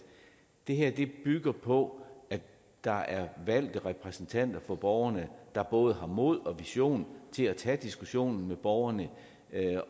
det her bygger på at der er valgte repræsentanter for borgerne der både har mod og visioner til at tage diskussionen med borgerne